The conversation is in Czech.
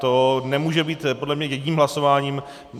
To nemůže být podle mě jedním hlasováním.